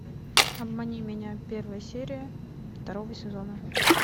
обмани меня первая серия второго сезона